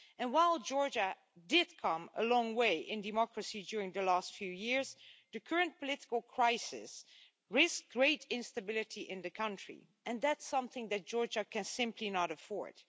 While Georgia did come a long way in democracy during the last few years, the current political crisis risks great instability in the country and that's something that Georgia can simply not afford.